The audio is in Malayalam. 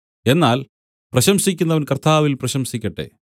എന്നാൽ പ്രശംസിക്കുന്നവൻ കർത്താവിൽ പ്രശംസിക്കട്ടെ